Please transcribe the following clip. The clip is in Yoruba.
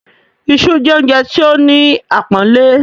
“Isu” jẹ́ oúnjẹ tí ó ní àpọ́nlé.